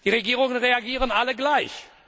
Die Regierungen reagieren alle gleich.